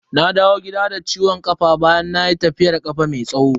Na dawo gida da ciwon kafa bayan nayi tafiyar kafa mai tsawo.